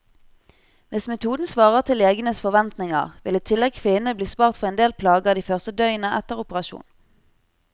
Hvis metoden svarer til legenes forventninger, vil i tillegg kvinnene bli spart for endel plager de første døgnene etter operasjon.